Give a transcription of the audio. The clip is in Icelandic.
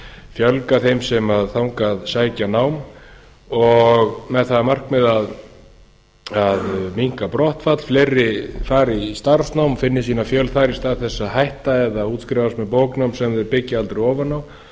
fjölga þeim sem þangað sækja nám með það að markmiði að eina brottfall fleiri fari í starfsnám og finni sína fjölda þar í stað þess að hætta eða útskrifast með bóknám semþau byggja aldrei ofan á og